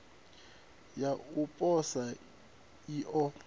ya u posa i o